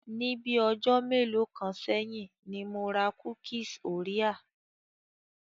Ni bii ọjọ́ mélòó kan sẹ́yìn ni mo ra kúkíes orea.